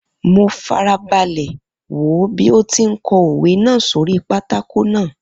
Mo fara balẹ̀ wò ó bí ó ti ń kọ òwe náà sórí pátákó náà.